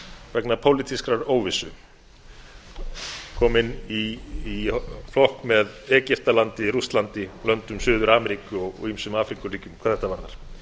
vegna pólitískrar óvissu við erum komin í flokk með egyptalandi rússlandi löndum suður ameríku og ýmsum afríkuríkjum hvað þetta varðar